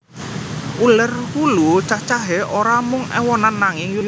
Uler wulu cacahé ora mung éwonan nanging yutonan